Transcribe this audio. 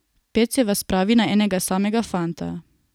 Pet se vas spravi na enega samega fanta.